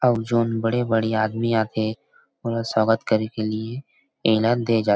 सब झन बड़े बड़े आदमी आ थे ओकर स्वागत करे के लिए एला दे जा थे।